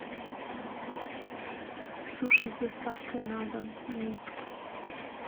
суши с доставкой на дом минск